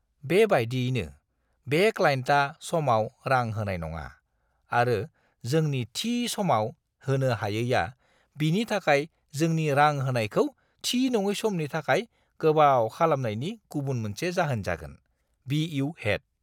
बेबायदियैनो, बे क्लाइन्टआ समाव रां होनाय नङा आरो जोंनि थि समाव होनो हायैआ बिनि थाखाय जोंनि रां होनायखौ थि-नङै समनि थाखाय गोबाव खालामनायनि गुबुन मोनसे जाहोन जागोन। (बि.इउ. हेड)